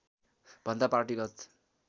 भन्दा पार्टीगत